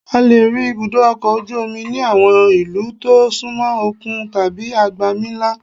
A lè rí ibùdó ọkọ̀ ojú omi ní àwọn ìlú tó súnmọ òkun tàbí agbami ńlá